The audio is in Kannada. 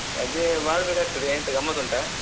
ರಜೆ ಮಾಡ್ಬೇಕಾಗ್ತದೆ ಎಂತ ಗಮ್ಮತ್ ಉಂಟಾ?